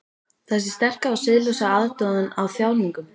Þessi sterka og siðlausa aðdáun á þjáningum.